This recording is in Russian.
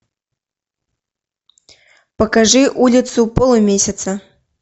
покажи улицу полумесяца